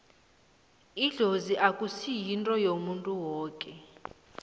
idlozi akusi yinto yomuntu woke